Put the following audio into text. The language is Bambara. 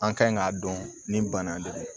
An kan k'a dɔn nin bana de don